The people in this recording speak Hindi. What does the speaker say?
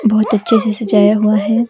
बहुत अच्छे से सजाया हुआ है।